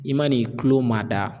I man'i kulo maada